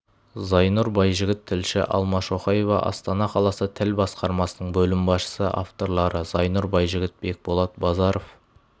зайнұр байжігіт тілші алма шоқаева астана қаласы тіл басқармасының бөлім басшысы авторлары зайнұр байжігіт бекболат базаров